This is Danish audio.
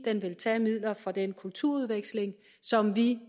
vil tage midler fra den kulturudveksling som vi